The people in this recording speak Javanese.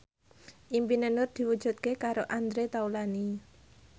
impine Nur diwujudke karo Andre Taulany